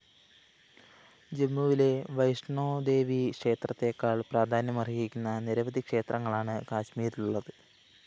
ജമ്മുവിലെ വൈഷ്‌ണോദേവി ക്ഷേത്രത്തേക്കാള്‍ പ്രാധാന്യമര്‍ഹിക്കുന്ന നിരവധി ക്ഷേത്രങ്ങളാണ് കശ്മീരിലുള്ളത്